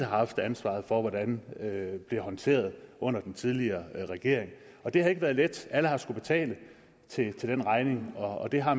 har haft ansvaret for hvordan blev håndteret under den tidligere regering det har ikke været let alle har skullet betale den regning og det har